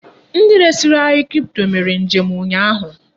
Ndi resiri anyi kripto mere njem ụnyaahụ.